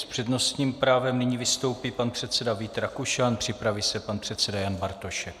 S přednostním právem nyní vystoupí pan předseda Vít Rakušan, připraví se pan předseda Jan Bartošek.